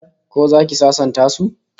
Ko zaki sasanta su?